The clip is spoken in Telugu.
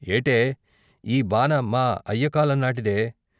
ఏటే! ఈ బాన మా అయ్య కాలం నాటిదే.